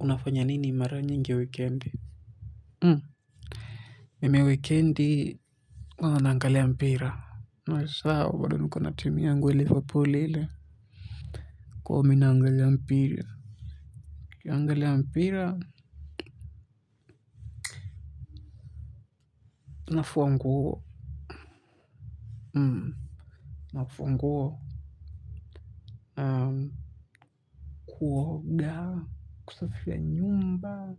Unafanya nini mara nyingi wikendi? Mimi wikendi huwa naagalia mpira asa nko na timi yangu ya liverpool ile kwa hio mi naangalia mpira nikiaangalia mpira. Unafuanguo. Unafuanguo. Kuoga. Kusafia nyumba.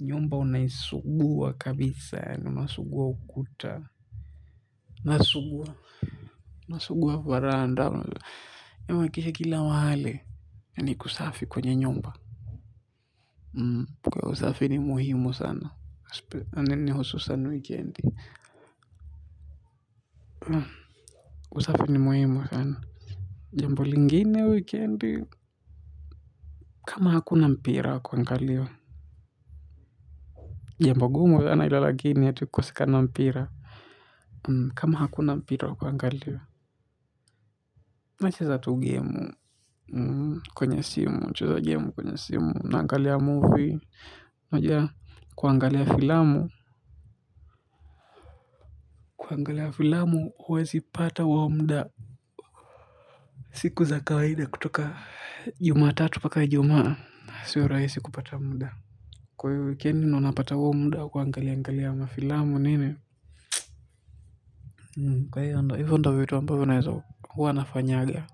Nyumba unaisuguwa kabisa ya masuguwa ukuta. Nasuguwa. Nasuguwa varanda huwakisha kila wale ni kusafi kwenye nyumba kwa usafi ni muhimu sana ane ni hususan wikendi usafi ni muhimu sana jambo lingine wikendi kama hakuna mpira kwa ngalio jambo gumu sana ilalagini kwa sika na mpira kama hakuna mpira kwa ngaliwa na chesa tu gemu kwenye simu na angalia movie na jaa kuangalia filamu kuangalia filamu huwezi pata huo muda siku za kawaida kutoka juma tatu paka juma sio rahisi kupata mda kwa hivo wikendi wanapata wa umda kuangalia angalia mafilamu nini kwa hivi ndio wanapata wa umda huwezi wanafanyaga.